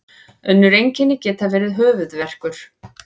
önnur einkenni geta verið höfuðverkur